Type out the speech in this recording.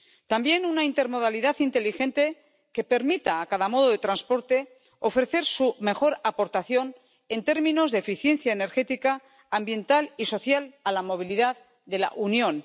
También una intermodalidad inteligente que permita a cada modo de transporte ofrecer su mejor aportación, en términos de eficiencia energética, ambiental y social, a la movilidad de la Unión.